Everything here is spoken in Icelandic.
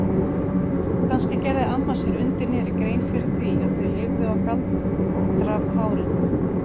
Kannski gerði amma sér undir niðri grein fyrir því að þau lifðu á galdrapárinu?